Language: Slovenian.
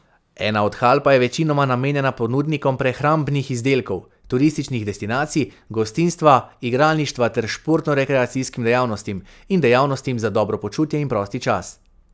Ena od hal pa je večinoma namenjena ponudnikom prehrambnih izdelkov, turističnih destinacij, gostinstva, igralništva ter športno rekreacijskim dejavnostim in dejavnostim za dobro počutje in prosti čas.